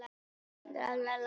Ekki gott að synda svona